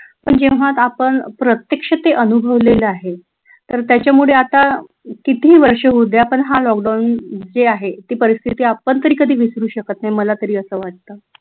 पण जेव्हा आपण प्रत्यक्ष ते अनुभवलेलं आहे तर त्याच्यामध्ये आत्ता कितीही वर्ष होऊद्या पण हा लॉकडाऊन जे आहे ती परिस्थिती आपण तरी कधी विसरू शकत नाही मला तरी असं वाटत.